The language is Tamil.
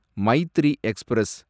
மைத்திரி எக்ஸ்பிரஸ்